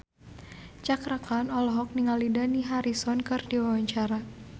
Cakra Khan olohok ningali Dani Harrison keur diwawancara